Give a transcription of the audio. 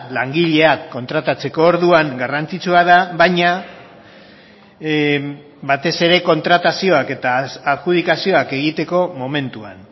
langileak kontratatzeko orduan garrantzitsua da baina batez ere kontratazioak eta adjudikazioak egiteko momentuan